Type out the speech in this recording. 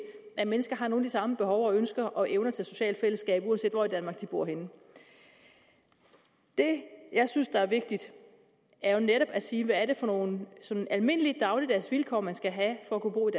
at mennesker har nogle af de samme behov og ønsker og evner til socialt fællesskab uanset hvor i danmark de bor henne det jeg synes er vigtigt er jo netop at sige hvad er det for nogle sådan almindelige dagligdags vilkår man skal have for at kunne bo i